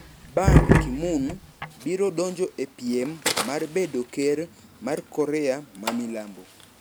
Ban Ki-moon biro donjo e piem mar bedo ker mar Korea mamilambo.